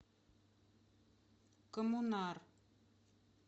коммунар